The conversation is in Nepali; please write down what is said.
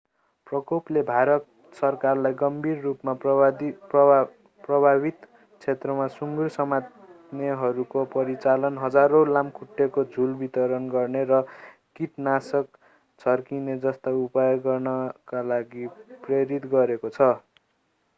प्रकोपले भारत सरकारलाई गम्भीर रूपमा प्रभावित क्षेत्रमा सुङ्गुर समात्नेहरूको परिचालन हजारौँ लामखुट्टेको झुल वितरण गर्न र किटनाशक छर्किने जस्ता उपाय गर्नका लागि प्रेरित गरेको छ